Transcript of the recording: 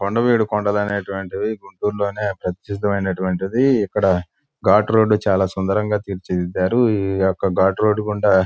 కొండవీడు కొండలనేటటు వంటివి గుంటూరు లోనే ప్రసిద్ధిమైనటువంటివి. ఇక్కడ గాట్ రోడ్ చాలా సుందరంగా తీర్చి దిద్దారు. ఈ యొక్క గాట్ రోడ్ గుండా--